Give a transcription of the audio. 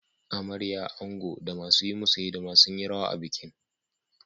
Amarya, ango, da masu yi musu hidima sun yi rawa a bikin.